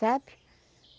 Sabe?